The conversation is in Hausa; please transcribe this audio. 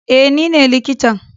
eh nine likitan.